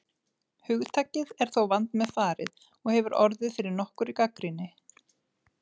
Hugtakið er þó vandmeðfarið og hefur orðið fyrir nokkurri gagnrýni.